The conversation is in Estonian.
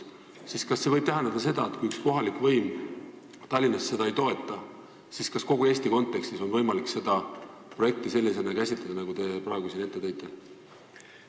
Kas see võib tähendada seda, et kui üks kohalik võim Tallinnas seda ei toeta, siis kogu Eesti kontekstis ei olegi võimalik seda projekti käsitleda sellisena, nagu te praegu siin ette tõite?